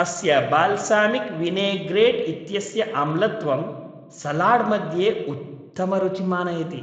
अस्य balsamic vinaigrette इत्यस्य आम्लत्वं सलाड्मध्ये उत्तमरुचिं आनयति,